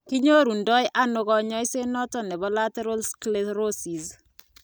kinyoru ndo ano kanyaiset noton nebo lateral sclerosis?